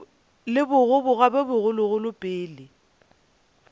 le bogoboga bjo bogologolo pele